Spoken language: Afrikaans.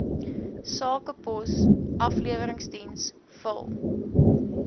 sakepos afleweringsdiens vul